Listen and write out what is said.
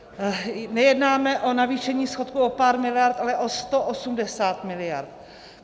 Nejednáme o navýšení schodku o pár miliard, ale o 180 miliard.